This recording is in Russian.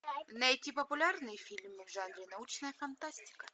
найти популярные фильмы в жанре научная фантастика